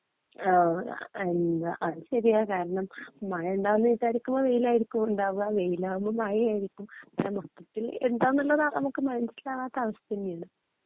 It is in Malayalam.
ആ എന്താ അത് ശെരിയാ കാരണം മഴ ഇണ്ടാകുന്നു വിചാരികുമ്പോ വെയിലാ ഇണ്ടാകുആ വേലാകുമ്പോ മഴയായിരിക്കും മൊത്തത്തിൽ ഏന്താനനുള്ളത് നമുക്ക് മനസ്സിലാവാത്ത അവസ്ഥ തന്നെയാണ്